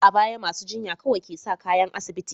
A baya, masu jinya kawai ke sa kayan asibiti.